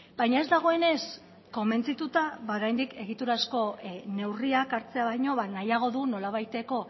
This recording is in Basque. baina ez dagoenez konbentzituta ba oraindik egiturazko neurriak hartzea baino nahiago du nolabaiteko